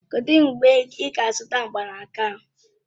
Kedụ mgbe ị ga-azụta mgbanaka ahụ?